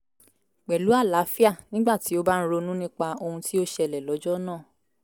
pẹ̀lú alaafia nígbà tí ó bá ń ronú nípa ohun tí ó ṣẹlẹ̀ lọ́jọ́ náà